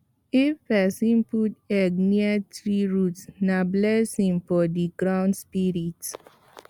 if person put egg near tree root na blessing for the ground spirit